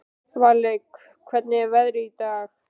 Valey, hvernig er veðrið í dag?